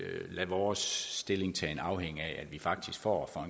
lade vores stillingtagen afhænge af at vi faktisk for